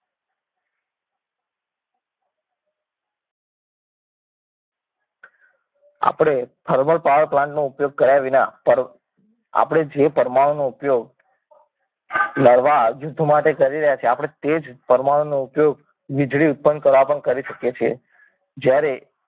આપણે thermal power plant નો ઉપયોગ કર્યા વિના આપણે જે પરમાણુનો ઉપયોગ લડવા યુદ્ધ માટે કરી રહ્યા છીએ આપણે તે જ પરમાણુનો ઉપયોગ વીજળી ઉત્પન્ન કરવા પણ કરી શકે છે જ્યારે